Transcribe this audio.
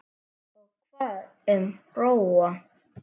Og hvað um Bróa?